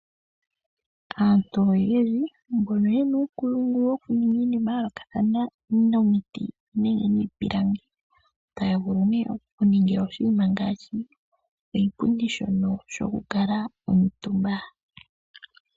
Aantu oyendji mbono yena uunkulungu wokulonga iinima ya yoolokathana okuza momiti nenge miipilangi, otaya vulu oku etapo oshipundi shono shokukala omutumba.